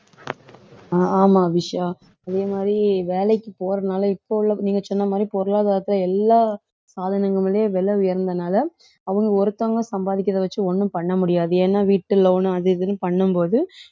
அஹ் ஆமா அபிஷா அதே மாதிரி வேலைக்கு போறனால இப்ப உள்ள நீங்க சொன்ன மாதிரி பொருளாதாரத்துல எல்லா விலை உயர்ந்தனால அவங்க ஒருத்தவங்க சம்பாதிக்கிறதை வச்சு ஒண்ணும் பண்ண முடியாது ஏன்னா வீட்டு loan அது இதுன்னு பண்ணும் போது